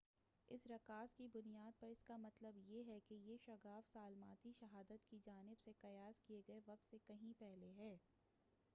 اس رکاز کی بُنیاد پر اس کا مطلب یہ ہے کہ یہ شگاف سالماتی شہادت کی جانب سے قیاس کیے گئے وقت سے کہیں پہلے ہے